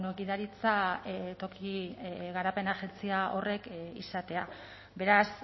gidaritza toki garapen agentzia horrek izatea beraz